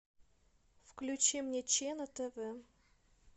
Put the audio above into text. включи мне че на тв